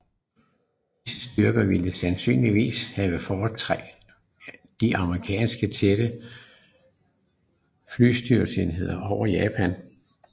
Disse styrker ville sandsynligvis have forstærket de amerikanske tætte flystøtteenheder over Japan